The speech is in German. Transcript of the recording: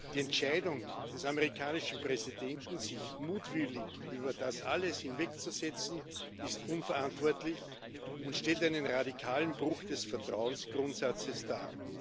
Die Entscheidung des amerikanischen Präsidenten, sich mutwillig über das alles hinwegzusetzen, ist unverantwortlich und stellt einen radikalen Bruch des Vertrauensgrundsatzes dar.